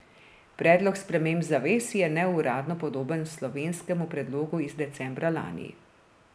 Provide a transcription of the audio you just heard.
Predlog sprememb zavez je neuradno podoben slovenskemu predlogu iz decembra lani.